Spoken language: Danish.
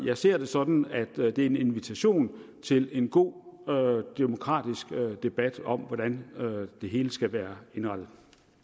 jeg ser det sådan at det er en invitation til en god demokratisk debat om hvordan det hele skal være indrettet